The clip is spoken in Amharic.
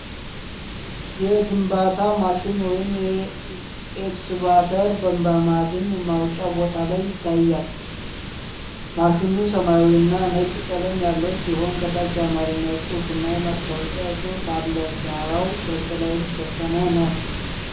የግንባታ ማሽን ወይም ኤክስካቫተር በማዕድን ማውጫ ቦታ ላይ ይታያል:: ማሽኑ ሰማያዊና ነጭ ቀለም ያለው ሲሆን፣ ከታች የአማርኛ ጽሑፍና የማስታወቂያ ጽሑፍ አለ:: ዳራው በጥላ የተሸፈነ ነው::